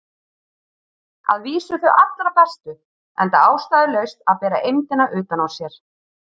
Að vísu þau allra bestu, enda ástæðulaust að bera eymdina utan á sér.